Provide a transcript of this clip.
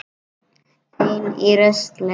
Ein í rusli.